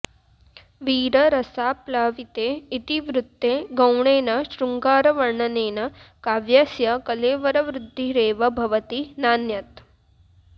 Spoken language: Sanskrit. वीररसाप्लाविते इतिवृत्ते गौणेन शृङ्गारवर्णनेन काव्यस्य कलेवरवृद्धिरेव भवति नान्यत्